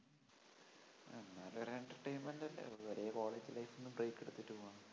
ഒരു entertainment അല്ലേ? ഒരേ college life ന്ന്‌ break എടുത്തിട്ട് പോവാം